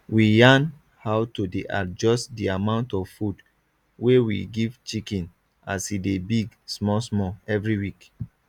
we yarn how to dey adjust di amount of food wey we give chicken as e dey big smallsmall every week